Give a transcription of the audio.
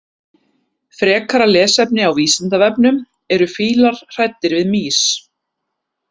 Frekara lesefni á Vísindavefnum: Eru fílar hræddir við mýs?